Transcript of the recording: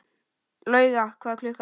Lauga, hvað er klukkan?